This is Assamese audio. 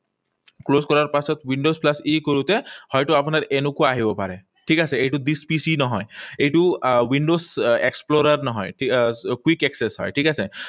Close কৰাৰ পাছত windows plus E কৰোঁতে হয়তো আপোনাৰ এনেকুৱা আহিব পাৰে। ঠিক আছে? এইটো this PC নহয়। এইটো আহ windows explorer নহয়। আহ Quick access হয়, ঠিক আছে?